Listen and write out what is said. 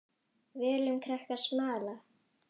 Völum krakkar smala.